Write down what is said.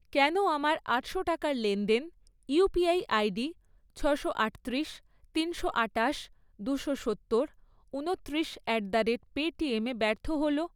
কেন আমার আটশো টাকার লেনদেন ইউপিআই আইডি ছশো আটত্রিশ, তিনশো আটাশ, দুশো সত্তর, ঊনত্রিশ অ্যাট দ্য রেট পেটিএমে ব্যর্থ হল?